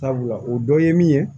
Sabula o dɔ ye min ye